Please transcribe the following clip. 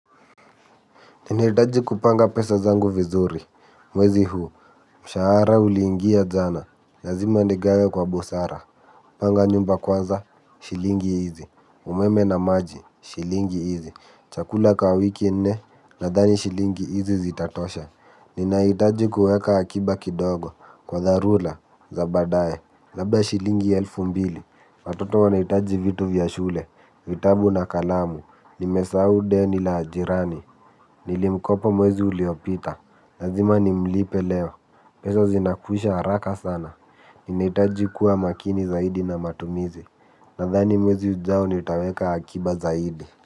Ninahitaji kupanga pesa zangu vizuri, mwezi huu, mshahara uliingia jana, lazima nigawe kwa busara, panga nyumba kwanza, shilingi hizi, umeme na maji, shilingi hizi, chakula kaa wiki nne, nadhani shilingi hizi zitatosha, ninahitaji kuweka akiba kidogo, kwa dharura, za badae, labda shilingi elfu mbili, watoto wanahitaji vitu vya shule, vitabu na kalamu, nimesahau deni la jirani, nilimkopa mwezi uliopita. Lazima nimlipe leo. Pesa zinakwisha haraka sana. Inahitaji kuwa makini zaidi na matumizi. Nadhani mwezi ujao nitaweka akiba zaidi.